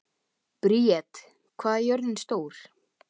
Briet, hvað er jörðin stór?